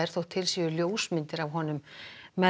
þótt til séu myndir af honum með